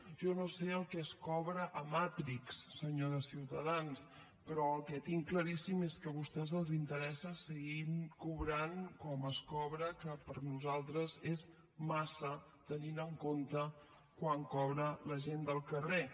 jo no sé el que es cobra a matrix senyor de ciutadans però el que tinc claríssim és que a vostès els interessa seguir cobrant com es cobra que per nosaltres és massa tenint en compte quant cobra la gent del carrer